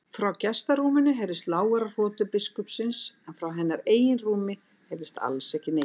Frá gestarúminu heyrðust lágværar hrotur biskupsins en frá hennar eigin rúmi heyrðist alls ekki neitt.